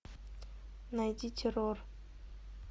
найди террор